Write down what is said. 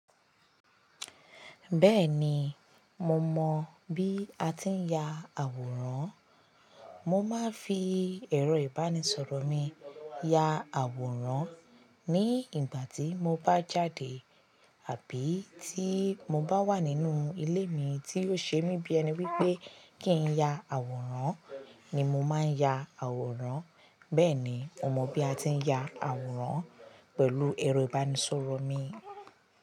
Bẹ́ẹ̀ni, mo mọ bí a ti ń ya àwòrán. Mo máa ń fi ẹ̀rọ ìbánisọ̀rọ̀ mi ya àwòrán ní ìgbà tí mo bá jáde àbí tí mo bá wà nínú ilé mi tí ò ṣe mí bí ẹni pé kí n ya àwòrán ni mo máa ń ya àwòrán. Bẹ́ẹ̀ni, mo mọ bí a ti ń ya àwòrán pẹ̀lú ẹ̀rọ ìbánisọ̀rọ̀ mi.